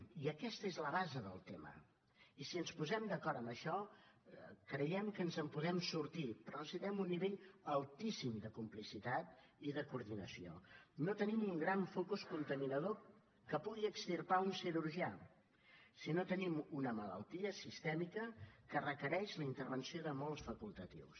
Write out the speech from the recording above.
i aquesta és la base del tema i si ens posem d’acord en això creiem que ens en podem sortir però necessitem un nivell altíssim de complicitat i de coordinació no tenim un gran focus contaminador que pugui extirpar un cirurgià sinó que tenim una malaltia sistèmica que requereix la intervenció de molts facultatius